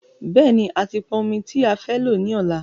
Bẹ́ẹ̀ni,a ti pọn ọmi tí a fẹ́ lò ní ọ̀la